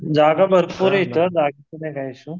जागा भरपूर आहे इथं जागेचा काही इशू नाही